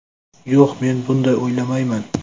Yo‘q, men bunday o‘ylamayman.